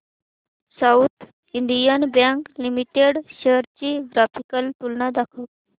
south Indian Bank Limited shares ची graphical तुलना दाखव